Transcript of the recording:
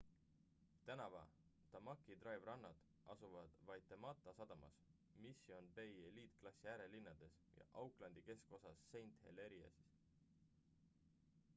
tänava tamaki drive rannad asuvad waitemata sadamas mission bay eliitklassi äärelinnades ja aucklandi keskosas st heliers'is